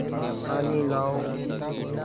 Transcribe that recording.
पानी लाओ